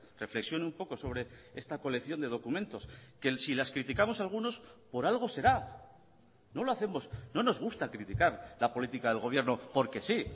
reflexione un poco sobre esta colección de documentos que si las criticamos algunos por algo será no lo hacemos no nos gusta criticar la política del gobierno porque sí